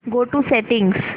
go to settings